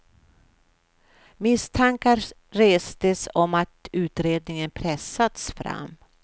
Misstankar restes om att utredningen pressats fram.